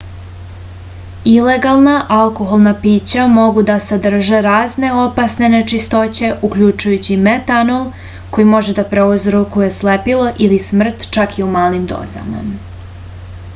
ilegana alkoholna pića mogu da sadrže razne opasne nečistoće uključujući metanol koji može da prouzrokuje slepilo ili smrt čak i u malim dozama